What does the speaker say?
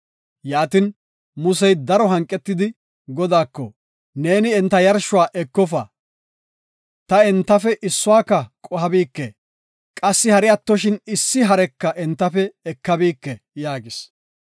Yaatin, Musey daro hanqetidi, Godaako, “Neeni enta yarshuwa ekofa; ta entafe issuwaka qohabike; qassi hari attoshin issi hareka entafe ekabike” yaagis.